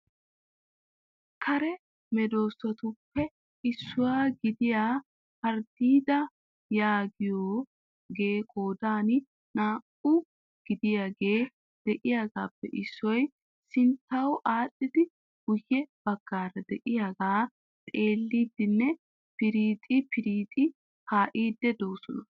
Kare medoosatuppe issuwa gidiya harddiida yaagiyooge qoodan naa"aa gidiyaagee de'iyaagappe issoy sinttaw aadhdhidi guyye baggaara de'iyaaga xeellidinne pirixxi pirixxi kaa'idi de'oosona.